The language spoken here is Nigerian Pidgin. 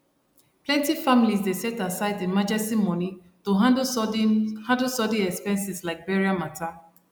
plenty families dey set aside emergency money to handle sudden handle sudden expenses like burial matter